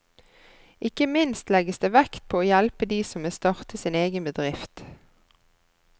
Ikke minst legges det vekt på å hjelpe de som vil starte sin egen bedrift.